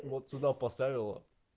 вот сюда поставила